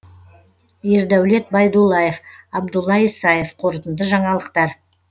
ердәулет байдуллаев абдулла исаев қорытынды жаңалықтар